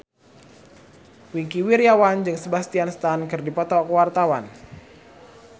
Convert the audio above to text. Wingky Wiryawan jeung Sebastian Stan keur dipoto ku wartawan